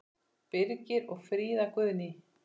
Birgir og Fríða Guðný.